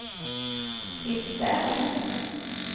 Fritz Berg